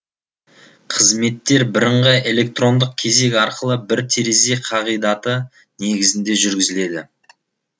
қызметтер бірыңғай электрондық кезек арқылы бір терезе қағидаты негізінде жүргізіледі